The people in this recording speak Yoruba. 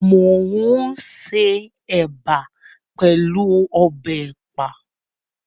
Mo n ṣe ẹ̀bà pẹlú ọbẹ̀ ẹ̀pà.